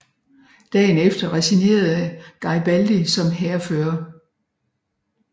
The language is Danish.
Dagen efter resignerede Geribaldi som hærfører